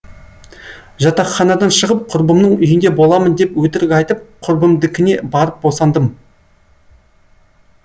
жатақханадан шығып құрбымның үйінде боламын деп өтірік айтып құрбымдыкіне барып босандым